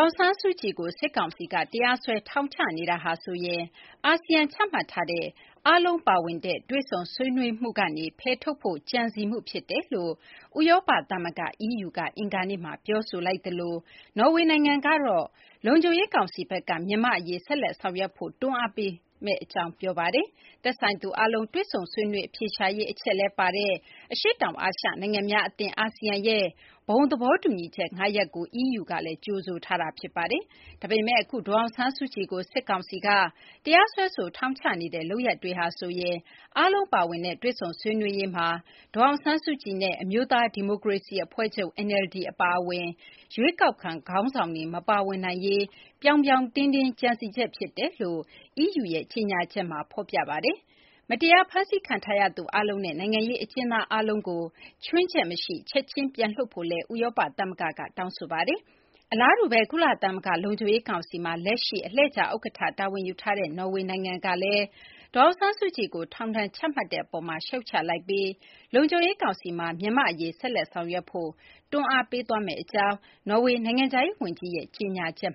င်ဆန်းစုကြည်ကို စစ်ကောင်စီက တရားစွဲဆို ထောင်ချနေတာဟာဆိုရင် အာဆီယံ ချမှတ်ထားတဲ့ အားလုံးပါဝင်တဲ့ တွေ့ဆုံဆွေးနွေးမှုကနေ ဖယ်ထုတ်ဖို့ ကြံစည်မှု ဖြစ်တယ်လို့ ဥရောပသမဂ္ဂ EU က အင်္ဂါနေ့မှာ ပြောဆိုလိုက်သလို နော်ဝေ နိုင်ငံကတော့ လုံခြုံရေး ကောင်စီဘက်က မြန်မာ့ အရေး ဆက်လက် ဆောင်ရွက်ဖို့ တွန်းအားပေးမယ့် အကြောင်း ပြောဆိုလိုက်ပါတယ်။ သက်ဆိုင်သူ အားလုံး တွေ့ဆုံ ဆွေးနွေး အဖြေရှာရေး အချက်လည်း ပါဝင်တဲ့ အရှေ့တောင် အာရှ နိုင်ငံများ အသင်း ASEAN ရဲ့ ဘုံသဘောတူညီချက် ၅ ရပ်ကို EU ကလည်း ကြိုဆိုထားတာ ဖြစ်ပါတယ်။ ဒါပေမယ့် အခု ဒေါ်အောင်ဆန်းစုကြည်ကို စစ်ကောင်စီက တရားစွဲဆို ထောင်ချနေတဲ့ လုပ်ရပ်တွေဟာဆိုရင် အားလုံးပါဝင်တဲ့ တွေ့ဆုံ ဆွေးနွေးရေးမှာ ဒေါ်အောင်ဆန်းစုကြည် နဲ့ အမျိုးသား ဒီမိုကရေစီ အဖွဲ့ချုပ် NLD အပါအဝင် ရွေးကောက်ခံ ခေါင်းဆောင်တွေ မပါဝင်နိုင်ရေး ပြောင်ပြောင်တင်းတင်း ကြံစည်ချက် ဖြစ်တယ်လို့ EU ရဲ့ကြေညာချက်မှာ ဖော်ပြပါတယ်။ မတရားဖမ်းဆီးခံထားရသူ အားလုံးနဲ့ နိုင်ငံရေး အကျဉ်းသား အားလုံးကို ခြွင်းချက်မရှိ ချက်ချင်း ပြန်လွှတ်ပေးဖို့လည်း ဥရောပ သမဂ္ဂက တောင်းဆိုလိုက်ပါတယ်။ အလားတူဘဲ ကုလသမဂ္ဂ လုံခြုံရေး ကောင်စီမှာ လက်ရှိ အလှည့်ကျ ဥက္ကဌ တာဝန်ယူထားတဲ့ နော်ဝေ နိုင်ငံကလည်း ဒေါ်အောင်ဆန်းစုကြည်ကို ထောင်ဒဏ် ချမှတ်တဲ့ အပေါ်မှာ ရှုတ်ချလိုက်ပြီး လုံခြုံရေး ကောင်စီမှာ မြန်မာ့ အရေး ဆက်လက် ဆောင်ရွက်ဖို့ တွန်းအားပေးသွားမယ့် အကြောင်း နော်ေ၀ နိုင်ငံခြားရေး ဝန်ကြီးက ကြေညာချက်